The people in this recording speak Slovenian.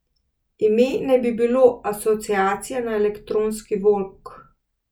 Ime naj bi bilo asociacija na elektronski vok.